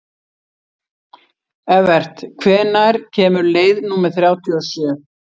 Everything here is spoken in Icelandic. Evert, hvenær kemur leið númer þrjátíu og sjö?